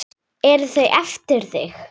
Eru þau eftir þig?